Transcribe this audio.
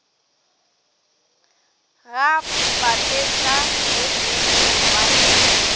ga papetla ye e kgolwane